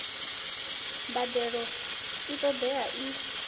mbadelo i ṱo ḓeaho i